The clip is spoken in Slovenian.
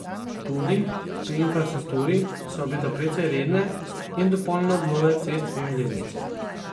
Tudi pri infrastrukturi se obeta precej redne in dopolnjene obnove cest in železnic.